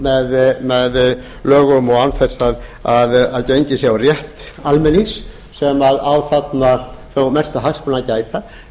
með lögum og án þess að gengið sé á rétt almennings sem á þarna þó mestra hagsmuna að gæta